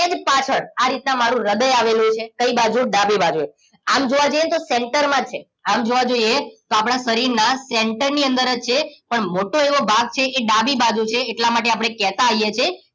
સેજ પાછળ આ રીતના મારું હૃદય આવેલું છે કઈ બાજુ ડાબી બાજુ આમ જોવા જઈએ ને તો center માં છે આમ જોવા જઈએ તો આપણા શરીરના center ની અંદર જ છે પણ મોટો એવો ભાગ છે એ ડાબી બાજુ છે એટલા માટે આપણે કહેતા હોઈએ છીએ